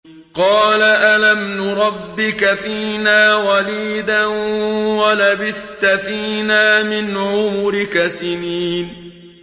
قَالَ أَلَمْ نُرَبِّكَ فِينَا وَلِيدًا وَلَبِثْتَ فِينَا مِنْ عُمُرِكَ سِنِينَ